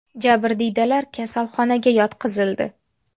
Jabrdiydalar kasalxonaga yotqizildi.